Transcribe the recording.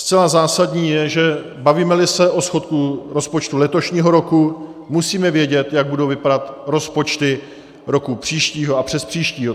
Zcela zásadní je, že bavíme-li se o schodku rozpočtu letošního roku, musíme vědět, jak budou vypadat rozpočty roku příštího a přespříštího.